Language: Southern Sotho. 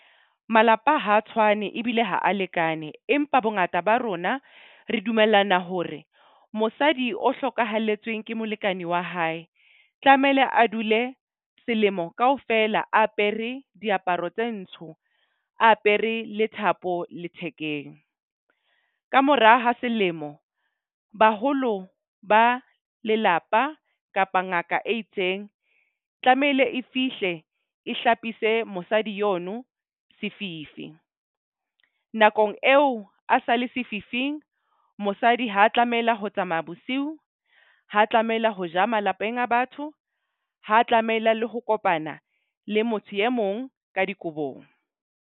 Malapa ha a tshwane ebile ha a lekane. Empa bongata ba rona re dumellana hore mosadi o hlokahalletsweng ke molekane wa hae, tlamehile a dule selemo kaofela. A apere diaparo tse ntsho, a apere le thapo lethekeng. Kamora ha selemo baholo ba lelapa kapa ngaka e itseng tlamehile e fihle, e hlapise mosadi yono sefifi. Nakong eo a sa le sefifing, mosadi ha a tlamela ho tsamaya bosiu. Ha tlamela ho ja malapeng a batho, ha tlameila le ho kopana le motho e mong ka dikobong.